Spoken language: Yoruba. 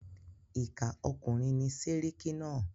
Ìkà ọkùnrin ni séríkí náà.